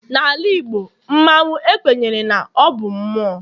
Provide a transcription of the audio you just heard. N'ala Igbo, mmanwu ekwenyere na ọ bụ mmụọ.